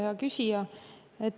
Hea küsija!